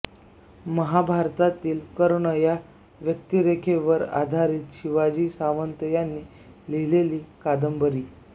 महाभारतातील कर्ण या व्यक्तिरेखेवर आधारित शिवाजी सावंत यांनी लिहिलेली कादंबरी